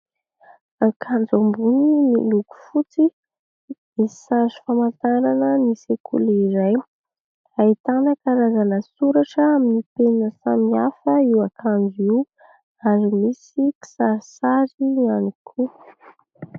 Akanjo ambony miloko fotsy misy hazo famantarana ny sekoly iray haitan ankarazana soratra amin'ny mpenina samy hafa io ankanjo io ary misy kisarisary ihany koa.